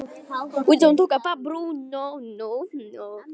Nú væri komið að þeim.